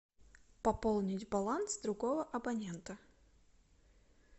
пополнить баланс другого абонента